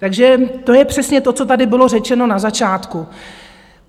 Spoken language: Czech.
Takže to je přesně to, co tady bylo řečeno na začátku.